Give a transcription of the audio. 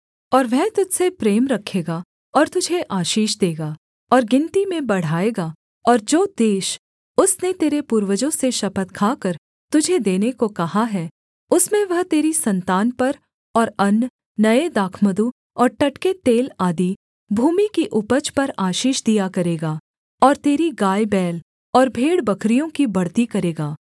और वह तुझ से प्रेम रखेगा और तुझे आशीष देगा और गिनती में बढ़ाएगा और जो देश उसने तेरे पूर्वजों से शपथ खाकर तुझे देने को कहा है उसमें वह तेरी सन्तान पर और अन्न नये दाखमधु और टटके तेल आदि भूमि की उपज पर आशीष दिया करेगा और तेरी गायबैल और भेड़बकरियों की बढ़ती करेगा